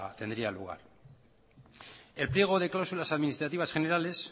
tendría lugar el pliego de cláusulas administrativas generales